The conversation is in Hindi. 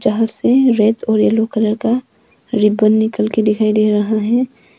जहाँ से रेद और यलो कलर का रिबन निकल के दिखाई दे रहा है।